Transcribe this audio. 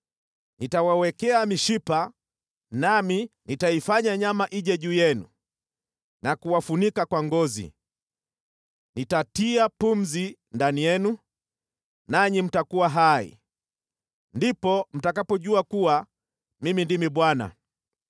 Nitawawekea mishipa, nami nitaifanya nyama ije juu yenu na kuwafunika kwa ngozi. Nitatia pumzi ndani yenu, nanyi mtakuwa hai. Ndipo mtakapojua kuwa Mimi ndimi Bwana .’”